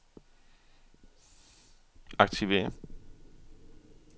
aktiver